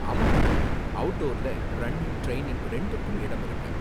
ஆமா மேடம், அவுட்டோர்ல running, training ரெண்டுக்கும் இடம் இருக்கு.